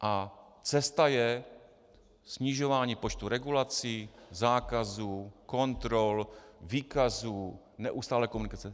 A cesta je snižování počtu regulací, zákazů, kontrol, výkazů, neustálé komunikace.